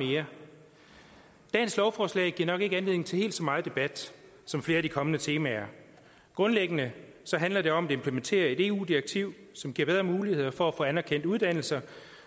mere dagens lovforslag giver nok ikke anledning til helt så meget debat som flere af de kommende temaer grundlæggende handler det om at implementere et eu direktiv som giver bedre muligheder for at få anerkendt uddannelser